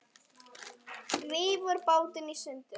Rífur bátinn í sundur.